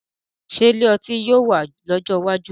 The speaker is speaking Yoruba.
Ṣé ilé ọtí yóò wà lọ́jọ́ iwájú?